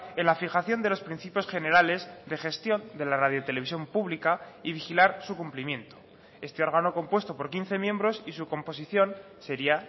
en la fijación de los principios generales de gestión de la radio televisión pública y vigilar su cumplimiento este órgano compuesto por quince miembros y su composición sería